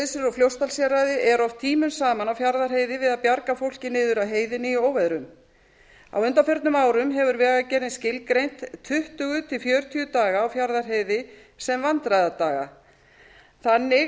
fljótsdalshéraði eru oft tímunum saman á fjarðarheiði við að bjarga fólki niður af heiðinni í óveðrum á undanförnum árum hefur vegagerðin skilgreint tuttugu til fjörutíu daga á fjarðarheiði sem vandræðadaga þannig